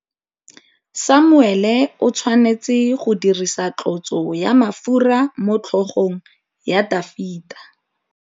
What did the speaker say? Samuele o tshwanetse go dirisa tlotsô ya mafura motlhôgong ya Dafita.